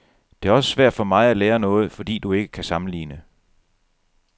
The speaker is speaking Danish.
Det er også svært for mig at lære noget, fordi du ikke kan sammenligne.